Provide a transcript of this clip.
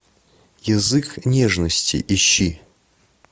язык нежности ищи